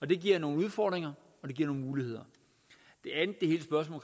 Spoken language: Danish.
det giver nogle udfordringer og det giver nogle muligheder